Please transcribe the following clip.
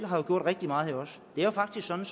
har gjort rigtig meget det er faktisk sådan